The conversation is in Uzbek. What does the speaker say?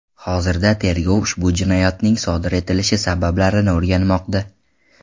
Hozirda tergov ushbu jinoyatning sodir etilishi sabablarini o‘rganmoqda.